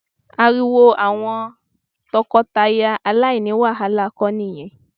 Ariwo àwọn tọkọtaya aláìní wàhálà kọ ni ìyẹn